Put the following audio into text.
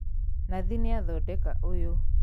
Nathi nĩathondeka ũyũ